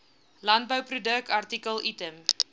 landbouproduk artikel item